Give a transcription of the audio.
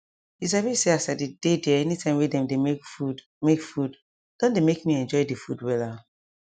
you sabi say as i dey dey there anytime wey dem dey make food make food don dey make me enjoy the food wella